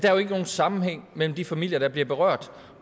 er jo ikke nogen sammenhæng mellem de familier der bliver berørt